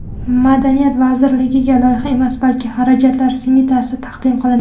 Madaniyat vazirligiga loyiha emas, balki xarajatlar smetasi taqdim qilindi.